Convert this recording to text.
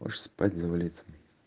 может спать завалиться